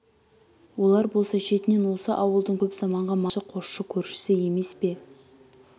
олар болса шетінен осы ауылдың көп заманғы малшы қосшы көршісі емес пе